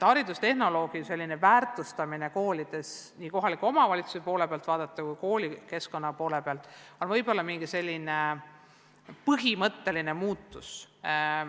Haridustehnoloogi väärtustamine nii koolide endi kui ka kohaliku omavalitsuse poole pealt vaadatuna ongi võib-olla üks selline põhimõtteline muutus.